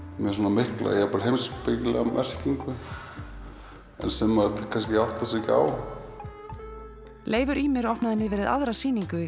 mikla jafnvel heimspekilega merkingu sem kannski áttar sig ekki á Leifur Ýmir opnaði nýverið aðra sýningu í